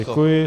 Děkuji.